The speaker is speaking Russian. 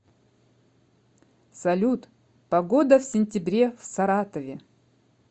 салют погода в сентябре в саратове